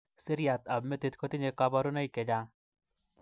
Siriat ab metit kotinye kabourunoik chechang.